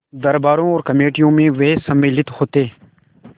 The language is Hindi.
दरबारों और कमेटियों में वे सम्मिलित होते